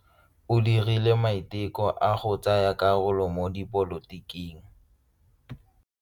O dirile maitekô a go tsaya karolo mo dipolotiking.